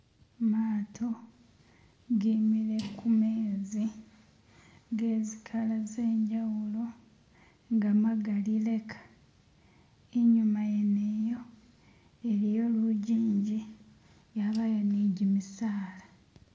Gamato gimire kumenzi gezikala zenjawulo nga gamagali leka, inyuma yene yo iliyo lunjinji yabayo nijjimisala